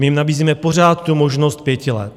My jim nabízíme pořád tu možnost 5 let.